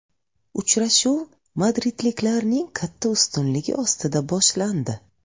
Uchrashuv madridliklarning katta ustunligi ostida boshlandi.